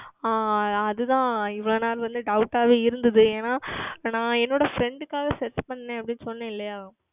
ஆஹ் அது தான் இவ்வளவு நாள் வந்து Doubt ஆகவே இருந்தது ஏனால் என்னுடைய Freind க்காக Search செய்தேன் அப்படி என்று சொன்னேன் அல்லவா